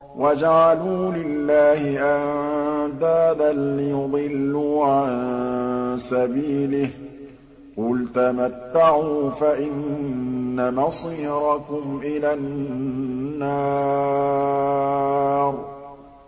وَجَعَلُوا لِلَّهِ أَندَادًا لِّيُضِلُّوا عَن سَبِيلِهِ ۗ قُلْ تَمَتَّعُوا فَإِنَّ مَصِيرَكُمْ إِلَى النَّارِ